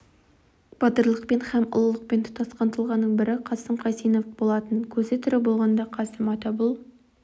батырлықпен һәм ұлылықпен тұтасқан тұлғаның бірі қасым қайсенов болатын көзі тірі болғанда қасым ата бұл